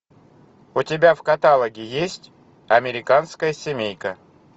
у тебя в каталоге есть американская семейка